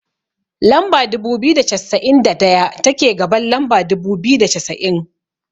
Lamba dubu biyu da cassa'in da daya, take gaban lamba dubu biyu da cassa'in.